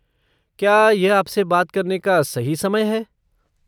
क्या यह आपसे बात करने का सही समय है?